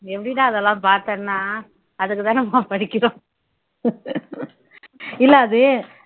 எப்படிடா இதெல்லாம் பார்த்தேன்னா அதுக்குதானம்மா படிக்கிறோம் இல்லை அது